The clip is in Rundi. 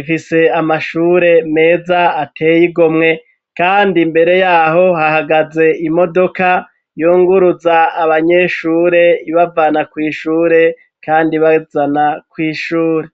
ifise amashure meza ateye igomwe kandi mbere yaho hahagaze imodoka yunguruza abanyeshure ibavana kw'ishure kandi bazana kw'ishure.